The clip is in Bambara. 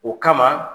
O kama